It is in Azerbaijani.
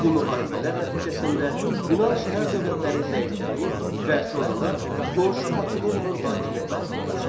Bu müharibələr nəticəsində Yunan şəhər dövlətləri zəiflədi və sonralar qonşu Makedoniyanın hakimiyyəti altına düşdü.